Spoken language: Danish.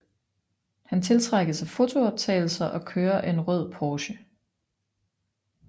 Han tiltrækkes af fotooptagelser og kører en rød Porsche